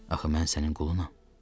Axı mən sənin qulunam.